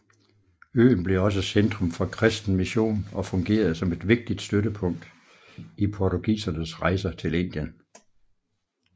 Øen blev også centrum for kristen mission og fungerede som et vigtigt støttepunkt i portugisernes rejser til Indien